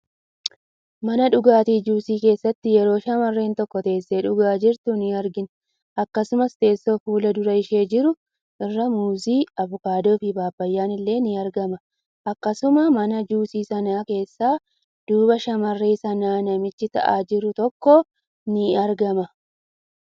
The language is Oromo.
Mana dhugaatii juusii keessatti yeroo shammarren tokko teessee dhugaa jirtu in argina. Akkasuma teessoo fuldura ishee jiru irraa muuzii, abukaadoo fi paappayyaan illee in argama. Akkasuma mana juusii sana keessa duuba shammarree sanaan namichi taa'a jiru tokko illee in argama.